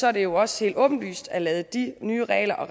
er det også helt åbenlyst godt at lade de nye regler og